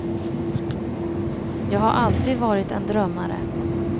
Jag har alltid varit en drömmare.